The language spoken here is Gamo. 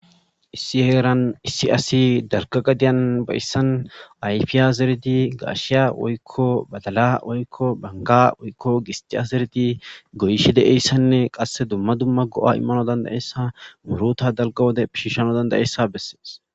issi heeran issi asi darka gadiyan bayissan ayfiya zeredi gaashiya woykko badala woykko banga woykko gistiya zeredi goyishi de7eyssanne qasse dumma dumma go7a immano dandayessa muruta dalga wode pishishano dandayeessa bessees